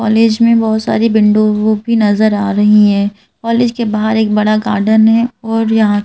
college में बहुत सारी बिंडो भी नजर आ रही है कॉलेज के बाहर एक बड़ा गार्डन है और यहां--